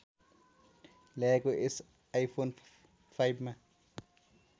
ल्याएको यस आइफोन फाइभमा